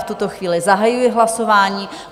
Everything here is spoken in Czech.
V tuto chvíli zahajuji hlasování.